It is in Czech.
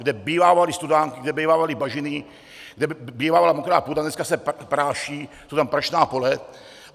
Kde bývávaly studánky, kde bývávaly bažiny, kde bývala mokrá půda, dneska se práší, jsou tam prašná pole.